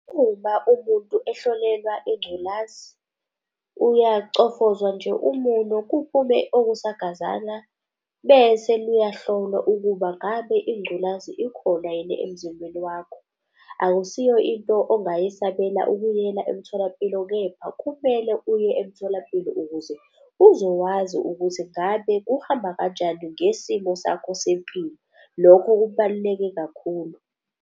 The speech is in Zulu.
Uma umuntu ehlolelwa ingculazi uyacofozwa nje umunwe kuphume okugazanana bese liyahlolwa ukuba ngabe ingculazi ikhona yini emzimbeni wakho. Akusiyo into ongayasabela ukuyiyela emtholampilo, kepha kumele uye emtholampilo ukuze uzowazi ukuthi ngabe kuhamba kanjani ngesimo sakho sempilo. Lokho kubaluleke kakhulu.